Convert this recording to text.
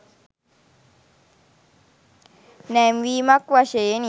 නැංවීමක් වශයෙනි.